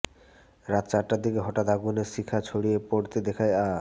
রাত চারটার দিকে হঠাৎ আগুনের শিখা ছড়িয়ে পড়তে দেখে আ